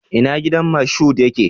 Ina gidan Moshood yake?